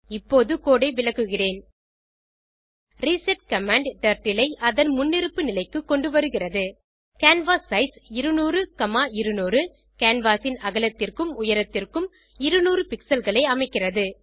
இப்போது கோடு ஐ விளக்குகிறேன் ரிசெட் கமாண்ட் டர்ட்டில் ஐ அதன் முன்னிருப்பு நிலைக்கு கொண்டுவருகிறது கேன்வாசைஸ் 200200 கேன்வாஸ் ன் அகலத்திற்கும் உயரத்திற்கும் 200 pixelகளை அமைக்கிறது